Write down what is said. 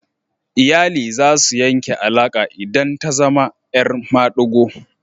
Iyali za su yanke alaka idan ta zama 'yar madigo.